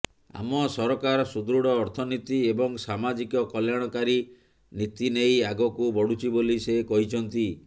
ଆମ ସରକାର ସୁଦୃଢ ଅର୍ଥନୀତି ଏବଂ ସାମାଜିକ କଲ୍ୟାଣକାରୀ ନୀତି ନେଇ ଆଗକୁ ବଢୁଛି ବୋଲି ସେ କହିଛନ୍ତି